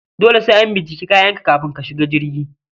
Dole sai an bincike kayanka kafin ka shiga jirgi